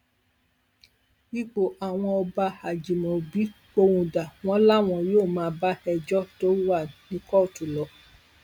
ipò àwọn ọba ajimobi pohùn dà wọn làwọn yóò máa bá ẹjọ tó wà ní kóòtù lọ